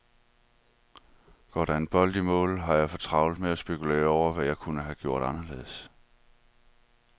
Går der en bold i mål, har jeg for travlt med at spekulere over, hvad jeg kunne have gjort anderledes.